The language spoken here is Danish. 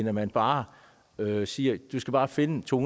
at man bare siger du skal bare finde to